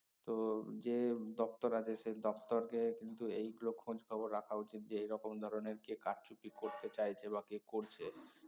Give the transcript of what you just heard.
তো যে দপ্তর আছে সে দপ্তরকে কিন্তু এইগুলো খোঁজখবর রাখা উচিত যে এই রকম ধরনের কে কারচুপি করতে চাইছে বা কে করছে